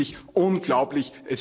Es ist wirklich unglaublich.